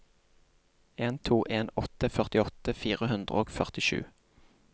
en to en åtte førtiåtte fire hundre og førtisju